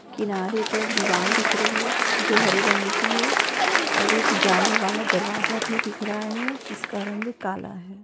किनारे पर दीवाल दिख रही हैं जो हरे रंग की है और एक जाली वाला दरवाजा भी दिख रहा है जिसका रंग काला है।